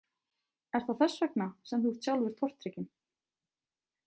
Er það þess vegna sem þú ert sjálfur tortrygginn?